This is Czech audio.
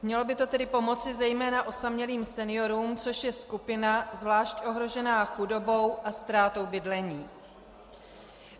Mělo by to tedy pomoci zejména osamělým seniorům, což je skupina zvlášť ohrožená chudobou a ztrátou bydlení.